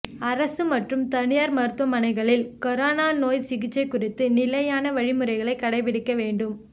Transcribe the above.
அரசு மற்றும் தனியாா் மருத்துவமனைகளில் கரோனா நோய் சிகிச்சை குறித்த நிலையான வழிமுறைகளைக் கடைபிடிக்க வேண்டும்